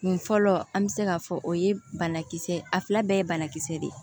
Kun fɔlɔ an bɛ se k'a fɔ o ye banakisɛ ye a fila bɛɛ ye banakisɛ de ye